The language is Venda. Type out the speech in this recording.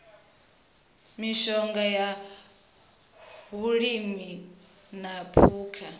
mishonga ya vhulimi na phukha